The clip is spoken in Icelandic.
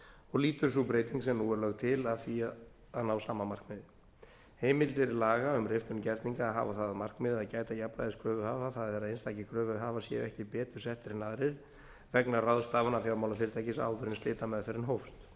og lýtur sú breyting sem nú er lögð til að því að ná sama markmiði heimildir laga um riftun gerninga hafa það að markmiði að gæta jafnræðis kröfuhafa það er að einstakir kröfuhafar séu ekki betur settir en aðrir vegna ráðstafana fjármálafyrirtækis áður en slitameðferðin hófst